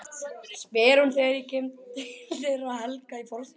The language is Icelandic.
spyr hún þegar ég kem til þeirra Helga í forstofunni.